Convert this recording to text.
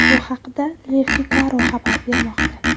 Bu haqda Le Figaro xabar bermoqda .